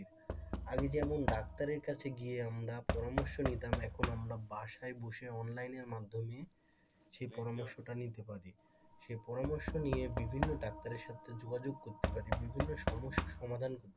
আগে যেমন ডাক্তারের কাছে গিয়ে আমরা পরামর্শ নিতাম এখন আমরা বাসায় বসে অনলাইনের মাধ্যমে সেই পরামর্শটা নিতে পারি সেই পরামর্শ নিয়ে বিভিন্ন ডাক্তারের সাথে যোগাযোগ করতে পারি বিভিন্ন সমস্যার সমাধান করতে পার,